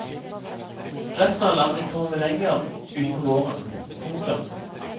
Resten av landet kommer med lenger utpå våren. punktum